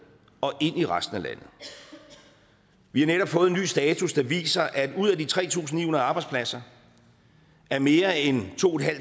og ind i resten af landet vi har netop fået en ny status der viser at ud af de tre tusind ni hundrede arbejdspladser er mere end to